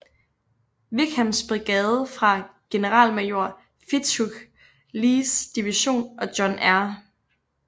Wickhams brigade fra generalmajor Fitzhugh Lees division og John R